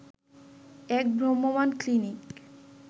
এক ভ্রাম্যমান ক্লিনিক